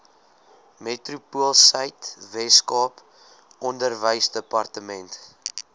metropoolsuid weskaap onderwysdepartement